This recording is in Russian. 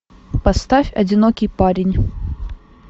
поставь одинокий парень